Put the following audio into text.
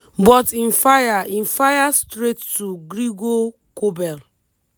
but im fire im fire straight to gregor kobel.